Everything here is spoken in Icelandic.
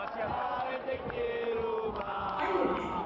Korka, lækkaðu í græjunum.